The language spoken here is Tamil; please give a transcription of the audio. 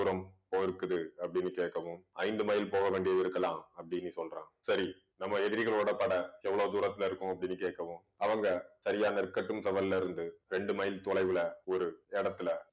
போயிருக்குது அப்படீன்னு கேட்கவும் ஐந்து மைல் போக வேண்டியது இருக்கலாம் அப்படீன்னு சொல்றான். சரி நம்ம எதிரிகளோட படை எவ்வளவு தூரத்தில இருக்கும் அப்படீன்னு கேட்கவும் அவங்க சரியா நெற்கட்டும் செவ்வல் இருந்து ரெண்டு மைல் தொலைவுல ஒரு இடத்துல